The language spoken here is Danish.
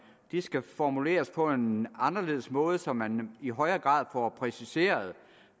skal formuleres på en anderledes måde så man i højere grad får præciseret